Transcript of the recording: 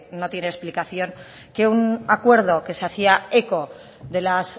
no tiene explicación que un acuerdo que se hacía eco de las